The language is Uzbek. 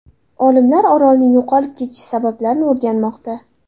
Olimlar orolning yo‘qolib ketish sabablarini o‘rganmoqda.